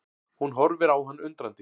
Hún horfir á hann undrandi.